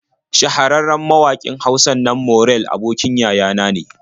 Shahararren mawaƙin Hausan nan Morell abokin yaya na ne.